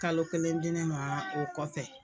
Kalo kelen di ne ma o kɔfɛ.